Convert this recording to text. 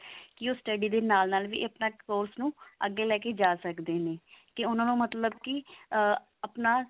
ਕੀ ਉਹ study ਦੇ ਨਾਲ ਨਾਲ ਵੀ ਆਪਣੇ course ਨੂੰ ਅੱਗੇ ਲੈ ਕੇ ਜਾ ਸਕਦੇ ਨੇ ਕੀ ਉਹਨਾਂ ਦਾ ਮਤਲਬ ਕੀ ah ਆਪਣਾ